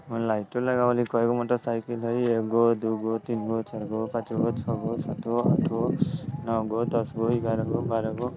उमें लाइटो लगाउल हई कइगो मोटर साईकल हई एगो दुगो तीनगो चारगो पाँचगो छगो सातगो आठगो नोगो दसगो ग्याराहगो बाराहगो।